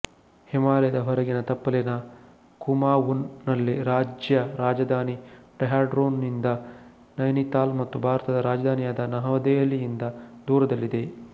ಹಿಮಾಲಯದ ಹೊರಗಿನ ತಪ್ಪಲಿನ ಕುಮಾವೂನ್ ನಲ್ಲಿ ರಾಜ್ಯ ರಾಜಧಾನಿ ಡೆಹ್ರಾಡೂನ್ ದಿಂದ ನೈನಿತಾಲ್ ಮತ್ತು ಭಾರತದ ರಾಜಧಾನಿಯಾದ ನವದೆಹಲಿಯಿಂದ ದೂರದಲ್ಲಿದೆ